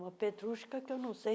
Uma Petrushka que eu não sei